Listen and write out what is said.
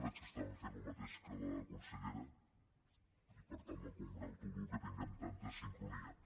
veig que fan el mateix que la consellera i per tant em congratulo que tinguem tanta sincronia